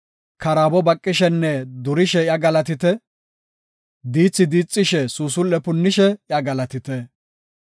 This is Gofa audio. Karaabo baqishenne durishe iya galatite; diithi diixishe, suusul7e punnishe iya galatite.